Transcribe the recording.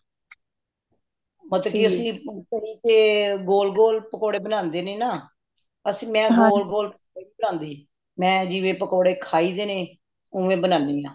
overlap ਤੇ ਅੱਸੀ ਗੋਲਗੋਲਾ ਪਕੌੜੇ ਬਾਨਾਂਦੇ ਨਾ ਅਸੀਂ ਮੈਂ ਗੋਲਗੋਲਾ ਪਕੌੜੇ ਨਹੀਂ ਬਣਾਂਦੀ ਮੈਂ ਜਿਵੇਂ ਪਕੌੜੇ ਖਾਈ ਦੇ ਨੇ ਓਵੇਂ ਬਣਾਈ ਦੇ ਨੇ